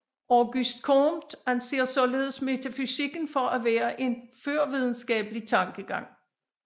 Auguste Comte anser således metafysikken for at være en førvidenskabelig tankegang